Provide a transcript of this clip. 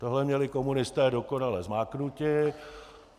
Tohle měli komunisté dokonale zmáknuté.